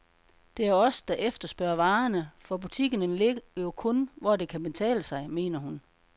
Det er os, der efterspørger varerne, for butikkerne ligger jo kun, hvor det kan betale sig, mener hun.